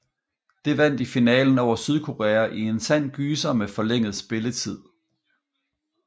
Det vandt i finalen over Sydkorea i en sand gyser med forlænget spilletid